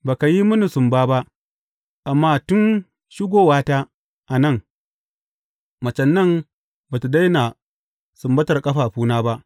Ba ka yi mini sumba ba, amma tun shigowata a nan, macen nan ba tă daina sumbar ƙafafuna ba.